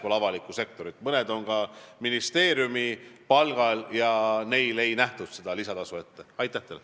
Mõned liikmed on ka ministeeriumi palgal ja neile seda lisatasu ette ei nähtud.